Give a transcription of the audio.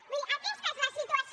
vull dir aquesta és la situació